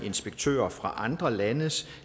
inspektører fra andre landes